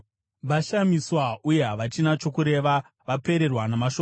“Vashamiswa uye havachina chokureva; vapererwa namashoko.